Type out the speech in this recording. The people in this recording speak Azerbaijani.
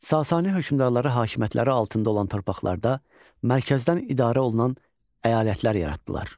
Sasani hökmdarları hakimiyyətləri altında olan torpaqlarda mərkəzdən idarə olunan əyalətlər yaratdılar.